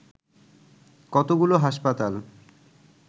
কতগুলো হাসপাতাল